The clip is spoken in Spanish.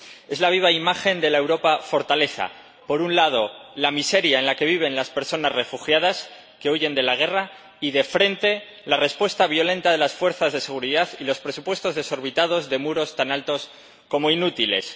Es la viva imagen de la Europa fortaleza por un lado, la miseria en la que viven las personas refugiadas que huyen de la guerra y, de frente, la respuesta violenta de las fuerzas de seguridad y los presupuestos desorbitados de muros tan altos como inútiles